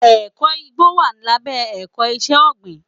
Ẹ̀kọ́ igbó wà lábẹ́ ẹ̀kọ́ iṣẹ́ ọ̀gbìn.